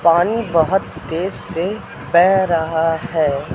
पानी बहोत तेज से बेह रहा है।